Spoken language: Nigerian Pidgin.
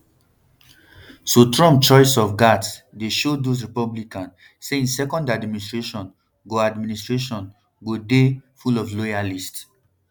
so trump choice of gaetz dey show those republicans say im second administration go administration go dey um full of loyalists